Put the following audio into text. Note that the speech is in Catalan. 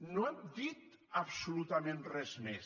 no hem dit absolutament res més